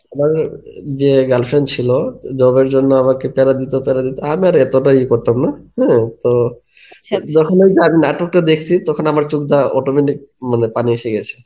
আমারও যে girl friend ছিলো, তা job এর জন্যে আমাকে তাড়া দিতো তাড়া দিতো. আমি এতটাই ইয়ে করতাম না হ্যাঁ, তো যখন আমি নাটকটা দেখসি তখন আমার চোখ দিয়া autometic মানে পানি এসে গেছে.